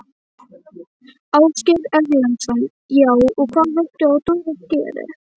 Ásgeir Erlendsson: Já, og hvað vilt þú að Dorrit geri?